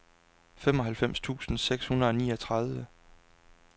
femoghalvfems tusind seks hundrede og niogtredive